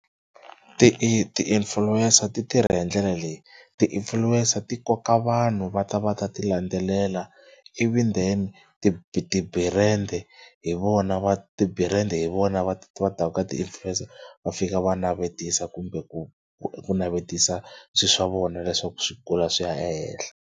Ti i ti-influencer ti tirha hi ndlela leyi ti-influencer ti koka vanhu va ta va ta tilandzelela ivi then ti ti-brand-e hi vona va ti-brand-e hi vona va va taka ka ti-influencer va fika va navetisa kumbe ku ku navetisa swilo swa vona leswaku swi kula swi ya ehenhla.